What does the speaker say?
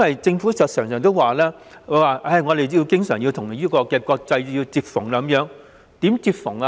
政府經常說香港要與國際接縫，怎樣接縫呢？